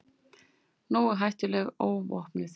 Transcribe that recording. Nógu hættuleg óvopnuð.